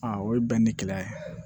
Aa o ye bɛn ni kɛlɛ ye